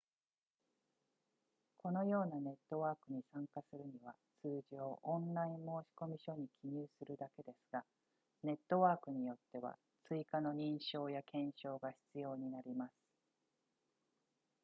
このようなネットワークに参加するには通常オンライン申込書に記入するだけですがネットワークによっては追加の認証や検証が必要になります